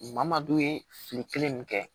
Maa maa don ye fili kelen nin kɛ